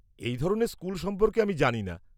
-এই ধরনের স্কুল সম্পর্কে আমি জানিনা।